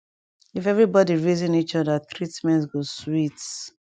if everi bodi reason each oda treatment go sweet